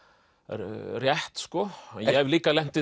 rétt ég hef líka lent í